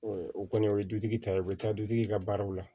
o kɔni o ye dutigi ta ye u bɛ taa dutigi ka baaraw la